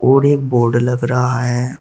और एक बोर्ड लग रहा है।